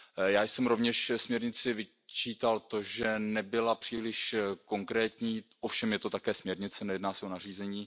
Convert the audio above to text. Já jsem rovněž směrnici vyčítal to, že nebyla příliš konkrétní, ovšem je to také směrnice, nejedná se o nařízení.